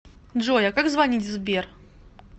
джой а как звонить в сбер